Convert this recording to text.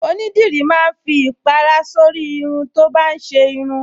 Onídìrí máa ń fi ìpàrà sórí irun tó bá ń ṣe irun